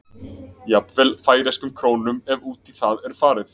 Jafnvel færeyskum krónum ef út í það er farið.